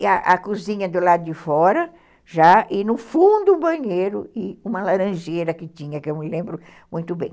E a cozinha do lado de fora, já, e no fundo o banheiro e uma laranjeira que tinha, que eu me lembro muito bem.